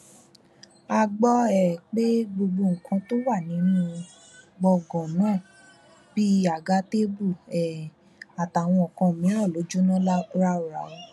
a gbọ um pé gbogbo nǹkan tó wà nínú gbọngàn náà bíi àga tèbú um àtàwọn kan mìíràn ló jóná ráúráú